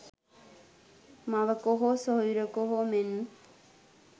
මවක හෝ සොහොයුරියක හෝ මෙන්